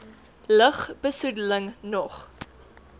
lug besoedeling nog